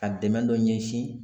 Ka dɛmɛ dɔ ɲɛsin